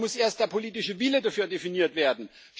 Aber da muss erst der politische Wille dafür definiert werden.